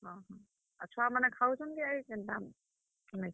ହଁ ହଁ, ଆଉ ଛୁଆ ମାନେ ଖାଉଛନ୍ କି କେନ୍ତା, ନାଇ ଖାଏବାର୍?